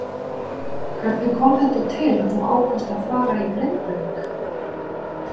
Hvernig kom þetta til að þú ákvaðst að fara í Grindavík.